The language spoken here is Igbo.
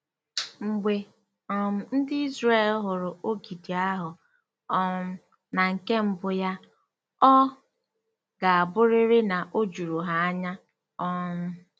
Mgbe um ndị Izrel hụrụ ogidi ahụ um na nke mbụ ya, ọ ga-abụrịrị na o juru ha anya um.